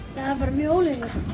mjög ólíklegt